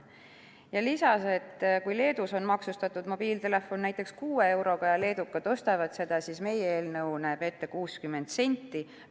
Ta lisas, et kui Leedus on maksustatud mobiiltelefon, mida leedukad ostavad, 6 euroga, siis meie eelnõu näeb ette 60 senti.